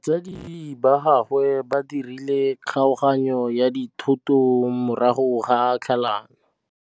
Batsadi ba gagwe ba dirile kgaoganyô ya dithoto morago ga tlhalanô.